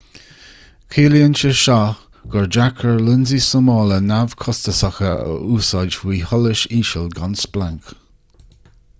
ciallaíonn sé gur deacair lionsaí súmála neamhchostasacha a úsáid faoi sholas íseal gan splanc